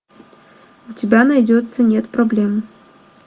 у тебя найдется нет проблем